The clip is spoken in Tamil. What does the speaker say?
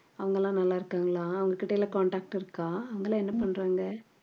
அவுங்களாம் நல்லா இருக்காங்களா அவங்க கிட்ட எல்லாம் contact இருக்கா அவங்க எல்லாம் என்ன பண்றாங்க